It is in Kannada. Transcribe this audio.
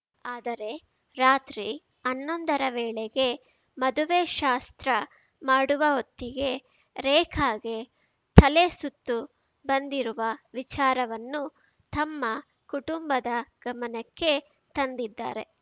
ಆದರೆ ರಾತ್ರಿ ಹನ್ನೊಂದರ ವೇಳೆಗೆ ಮದುವೆ ಶಾಸ್ತ್ರ ಮಾಡುವ ಹೊತ್ತಿಗೆ ರೇಖಾಗೆ ತಲೆ ಸುತ್ತು ಬಂದಿರುವ ವಿಚಾರವನ್ನು ತಮ್ಮ ಕುಟುಂಬದ ಗಮನಕ್ಕೆ ತಂದಿದ್ದಾರೆ